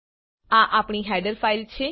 આ આપણી header file છે